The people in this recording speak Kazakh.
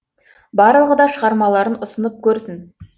барлығы да шығармаларын ұсынып көрсін